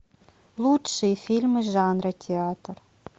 лучшие фильмы жанра театр